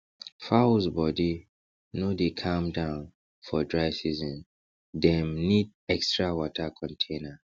fowls body no dey calm down for dry season dem need extra water container